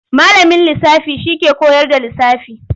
Malamin lisafi shi ke kowar da lisafi.